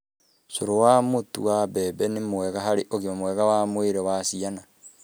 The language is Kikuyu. Cũrũ wa mũtu wa mbembe nĩ mwega harĩ ũgima mwega wa mwĩrĩ wa ciana.